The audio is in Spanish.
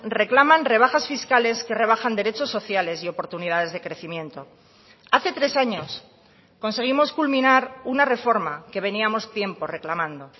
reclaman rebajas fiscales que rebajan derechos sociales y oportunidades de crecimiento hace tres años conseguimos culminar una reforma que veníamos tiempo reclamando